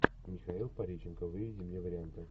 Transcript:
михаил пореченков выведи мне варианты